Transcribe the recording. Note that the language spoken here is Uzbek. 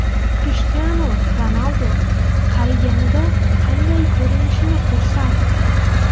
Krishtianu Ronaldu qariganida qanday ko‘rinishini ko‘rsatdi.